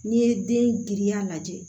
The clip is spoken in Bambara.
N'i ye den giriya lajɛ